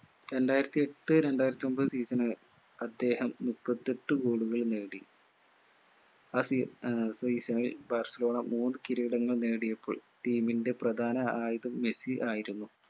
രണ്ടായിരത്തിയെട്ട് രണ്ടായിരത്തിയൊമ്പത് season അദ്ദേഹം മുപ്പത്തെട്ട് goal കൾ നേടി ആ സീ ആഹ് season ൽ ബാഴ്‌സലോണ മൂന്ന് കിരീടങ്ങൾ നേടിയപ്പോൾ team ൻറെ പ്രധാന ആയുധം മെസ്സി ആയിരുന്നു